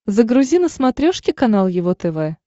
загрузи на смотрешке канал его тв